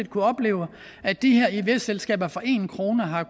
kunnet opleve at de her ivs selskaber for en kroner har